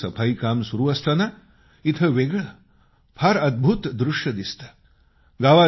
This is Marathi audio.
रोज सकाळी सफाई काम सुरू असताना फार वेगळं अद्भूत दृष्य इथं दिसतं